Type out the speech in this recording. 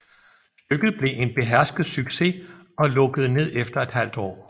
Stykket blev en behersket succes og lukkede ned efter ½ år